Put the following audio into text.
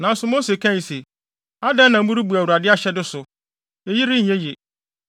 Nanso Mose kae se, “Adɛn na morebu Awurade ahyɛde so? Eyi renyɛ ye!